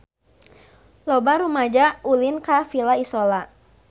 Loba rumaja ulin ka Villa Isola